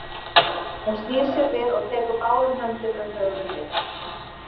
Hún snýr sér við og tekur báðum höndum um höfuð mitt.